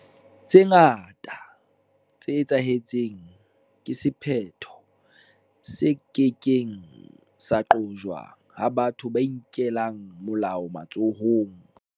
Tse ngata tse etsahetseng ke sephetho se ke keng sa qojwa ha batho ba inkela molao matsohong.